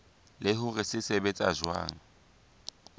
le hore se sebetsa jwang